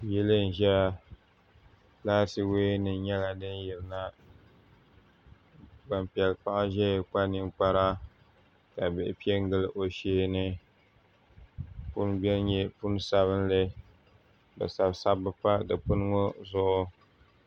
Yili n ʒɛya laati woya nim nyɛla din yirina gbanpiɛli paɣa ʒɛya kpa ninkpara ka bihi piɛ n gili o sheeni puni biɛni nyɛ puni sabinli bi sabi sabbu pa dikpuni ŋɔ zuɣu